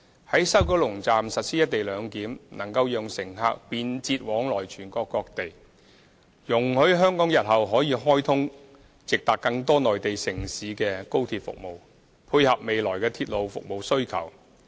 在西九龍站實施"一地兩檢"，能夠讓乘客便捷往來全國各地，也容許香港日後可開通直達更多內地城市的高鐵服務，配合未來的鐵路服務需求。